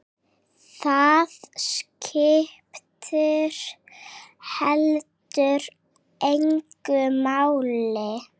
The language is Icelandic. Það skipti heldur engu máli.